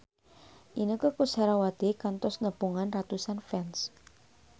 Inneke Koesherawati kantos nepungan ratusan fans